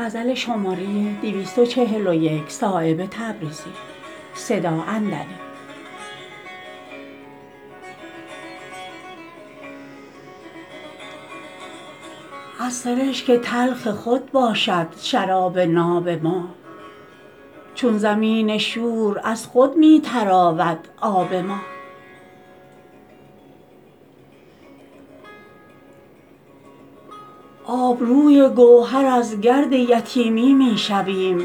از سرشک تلخ خود باشد شراب ناب ما چون زمین شور از خود می تراود آب ما آبروی گوهر از گرد یتیمی می شویم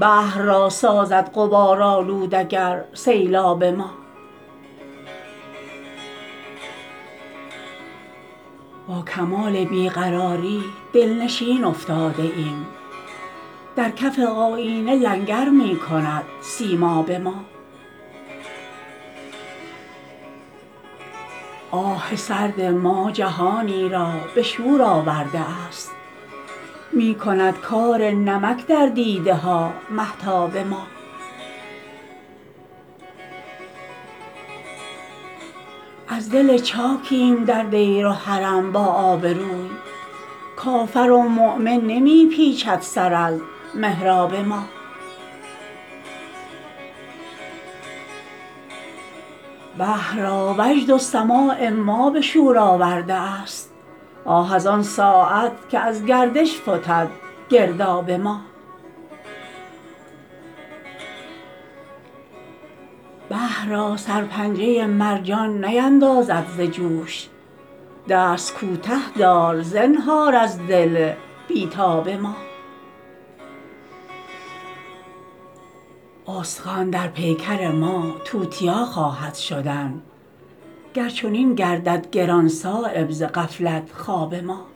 بحر را سازد غبارآلود اگر سیلاب ما با کمال بی قراری دلنشین افتاده ایم در کف آیینه لنگر می کند سیماب ما آه سرد ما جهانی را به شور آورده است می کند کار نمک در دیده ها مهتاب ما از دل چاکیم در دیر و حرم با آبروی کافر و مؤمن نمی پیچد سر از محراب ما بحر را وجد و سماع ما به شور آورده است آه از آن ساعت که از گردش فتد گرداب ما بحر را سرپنجه مرجان نیندازد ز جوش دست کوته دار زنهار از دل بی تاب ما استخوان در پیکر ما توتیا خواهد شدن گر چنین گردد گران صایب ز غفلت خواب ما